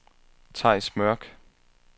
Theis Mørk